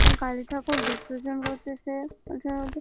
কালী ঠাকুর বিসর্জন করতেছে এইখানে।